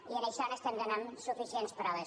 i d’això n’estem donant suficients proves